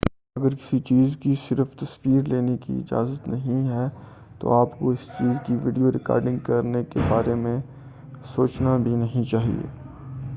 اگر کسی چیز کی صرف تصویر لینے کی اجازت نہیں ہے تو آپ کو اس چیز کی ویڈیو ریکارڈنگ کرنے کے بارے سوچنا بھی نہیں چاہئے